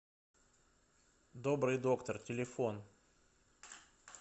добрый доктор телефон